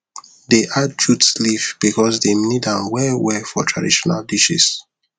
dey add jute leaf because dem need am well well for traditional dishes